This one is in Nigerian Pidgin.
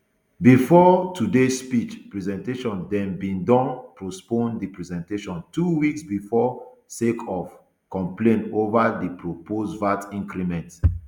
bifor today speech presentation dem bin don postpone di presentation two weeks bifor sake of complain ova di proposed vat increment